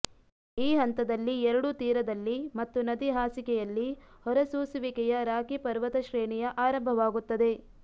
ಈ ಹಂತದಲ್ಲಿ ಎರಡೂ ತೀರದಲ್ಲಿ ಮತ್ತು ನದಿ ಹಾಸಿಗೆಯಲ್ಲಿ ಹೊರಸೂಸುವಿಕೆಯ ರಾಕಿ ಪರ್ವತಶ್ರೇಣಿಯ ಆರಂಭವಾಗುತ್ತದೆ